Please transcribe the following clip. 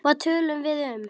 Hvað töluðum við um?